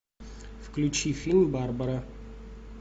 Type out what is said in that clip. включи фильм барбара